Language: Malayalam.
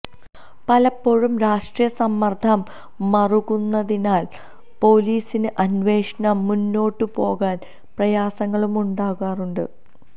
പലപ്പോഴും രാഷ്ട്രീയ സമ്മര്ദ്ദം മുറുകുന്നതിനാല് പൊലീസിന് അന്വേഷണം മുന്നോട്ടു പോകാന് പ്രയാസങ്ങളുമുണ്ടാകാറുണ്ട്